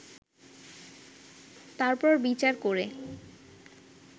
তারপর বিচার করে